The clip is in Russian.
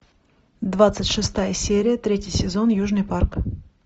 двадцать шестая серия третий сезон южный парк